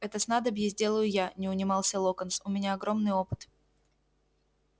это снадобье сделаю я не унимался локонс у меня огромный опыт